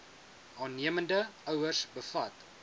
aannemende ouers bevat